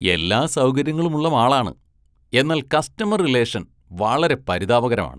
എല്ലാ സൗകര്യങ്ങളുമുള്ള മാളാണ്, എന്നാല്‍ കസ്റ്റമര്‍ റിലേഷന്‍ വളരെ പരിതാപകരമാണ്.